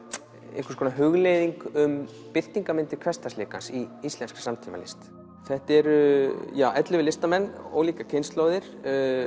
einhvers konar hugleiðing um birtingarmyndir hversdagsleikans í íslenskri samtímalist þetta eru ellefu listamenn ólíkar kynslóðir